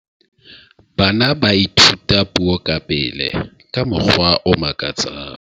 bana ba ithuta puo ka pele ka mokgwa o makatsang